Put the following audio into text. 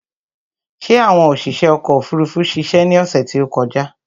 Ṣé àwọn oṣiṣé ọkò òfurufú ṣiṣe ni ọ̀sè tí ó kọjá?